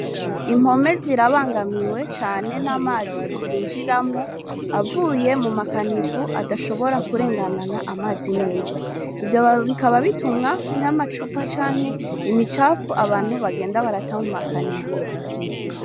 Impome zirabangamiwe cane n'amazi yinjiramwo avuye mu makanivu adashobora kurenganana amazi neza ivyo bikaba bitumwa n'amacupa canke imicapfu abantu bagenda barata mu makanivu.